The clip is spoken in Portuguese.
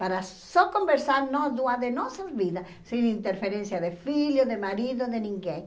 Para só conversar nós duas de nossas vidas, sem interferência de filho, de marido, de ninguém.